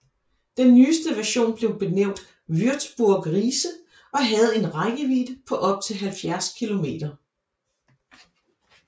Den nyeste version blev benævnt Würzburg Riese og havde en rækkevidde på op til 70 km